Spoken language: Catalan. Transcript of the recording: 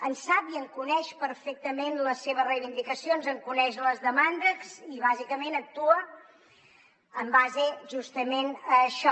en sap i en coneix perfectament les seves reivindicacions en coneix les demandes i bàsicament actua en base justament a això